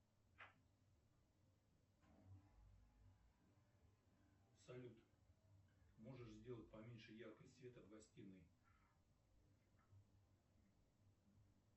салют можешь сделать поменьше яркость света в гостиной